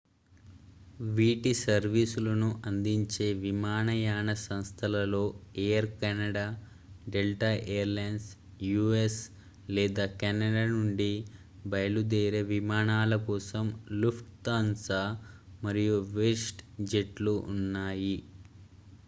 వీటి సర్వీసులను అందించే విమానయాన సంస్థలలో air canada delta airlines u.s. లేదా canada నుండి బయలుదేరే విమానాల కోసం lufthansa మరియు westjetలు ఉన్నాయి